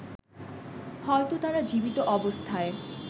হয়তো তারা জীবিত অবস্থায়